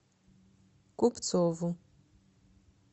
купцову